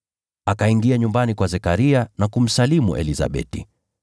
Akaingia nyumbani kwa Zekaria na kumsalimu Elizabeti.